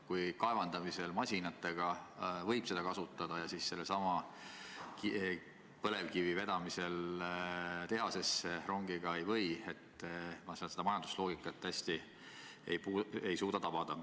Kui kaevandamisel masinatega võib seda kütust kasutada, aga sellesama põlevkivi vedamisel tehasesse rongiga ei või, siis ma seda majandusloogikat hästi ei suuda tabada.